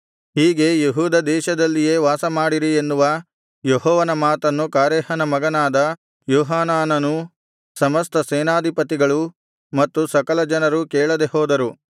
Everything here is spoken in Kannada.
ಹೀಗೆ ಯೆಹೂದ ದೇಶದಲ್ಲಿಯೇ ವಾಸಮಾಡಿರಿ ಎನ್ನುವ ಯೆಹೋವನ ಮಾತನ್ನು ಕಾರೇಹನ ಮಗನಾದ ಯೋಹಾನಾನನೂ ಸಮಸ್ತ ಸೇನಾಧಿಪತಿಗಳೂ ಮತ್ತು ಸಕಲಜನರೂ ಕೇಳದೆಹೋದರು